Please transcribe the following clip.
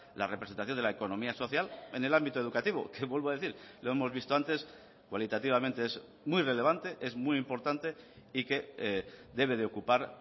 la representación de la economía social en el ámbito educativo que vuelvo a decir lo hemos visto antes cualitativamente es muy relevante es muy importante y que debe de ocupar